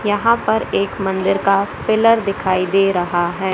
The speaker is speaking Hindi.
यहां पर एक मंदिर का पिलर दिखाई दे रहा है।